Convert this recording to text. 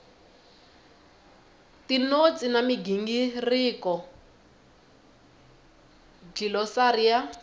tinotsi na migingiriko dlilosari ya